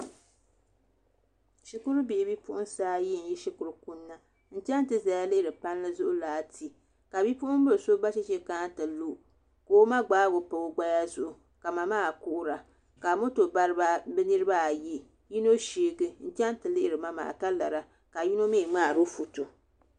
Shikuru bihi bipuɣunsi ayi n yi shikuru kunna n chɛŋ ti ʒɛya lihiri palii zuɣu laati ka bipuɣunbili so ba chɛchɛ kana ti lu ka o ma gbaagi o pa o gbaya zuɣu ka ma maa kuhura ka moto bariba bi niraba ayi ka yino sheegi n chɛŋ ti lihiri ma maa ka lara ka yino sheegi ka yino mii ŋmaaro foto